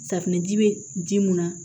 Safinɛji bɛ ji mun na